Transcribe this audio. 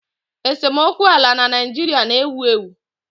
Esemokwu ala na Naịjirịa na-ewu ewu